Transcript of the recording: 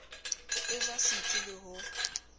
e ja setsi le ho